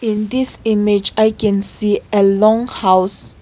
in this image i can see a long house.